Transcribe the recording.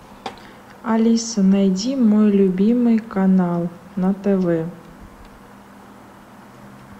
алиса найди мой любимый канал на тв